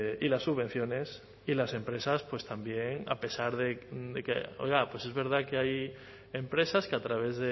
y las subvenciones y las empresas también a pesar de que oiga pues es verdad que hay empresas que a través